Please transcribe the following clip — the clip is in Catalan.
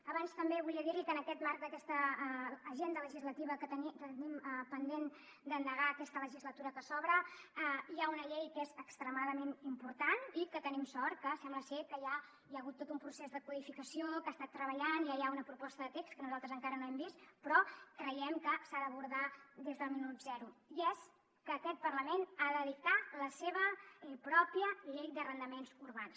abans també volia dir li que en aquest marc d’aquesta agenda legislativa que tenim pendent d’endegar en aquesta legislatura que s’obre hi ha una llei que és extremament important i que tenim sort que sembla ser que ja hi ha hagut tot un procés de codificació que ha estat treballant ja hi ha una proposta de text que nosaltres encara no hem vist però creiem que s’ha d’abordar des del minut zero i és que aquest parlament ha de dictar la seva pròpia llei d’arrendaments urbans